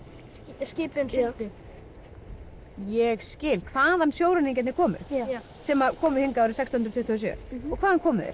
skipin sigldu ég skil hvaðan sjóræningjarnir komu sem komu hingað árið sextán tuttugu og sjö já og hvaðan komu þeir